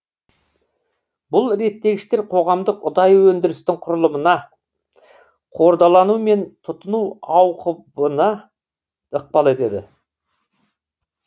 бұл реттегіштер қоғамдық ұдайы өндірістің құрылымына қордалану мен тұтыну ауқыбына ықпал етеді